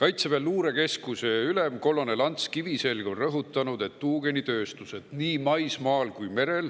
Kaitseväe luurekeskuse ülem kolonel Ants Kiviselg on rõhutanud, et tuugenitööstused nii maismaal kui ka merel